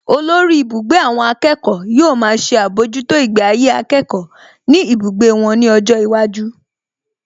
Olórí ibùgbé àwọn akẹ́kọ̀ọ́ yóò máa ṣe àbójútó ìgbé ayé akẹ́kọ̀ọ́ ní ibùgbé wọn ní ọjọ́ iwájú